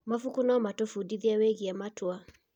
Mabuku no matũbundithie wĩgiĩ matua.